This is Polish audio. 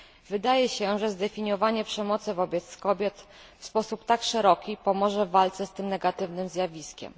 Wydaje się, że zdefiniowanie przemocy wobec kobiet w sposób tak szeroki pomoże w walce z tym negatywnym zjawiskiem.